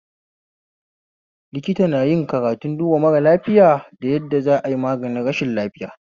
Likita nayin karatun duba mara lafiya da yadda za ai maganin rashin lafiya